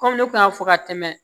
Kɔmi ne kun y'a fɔ ka tɛmɛ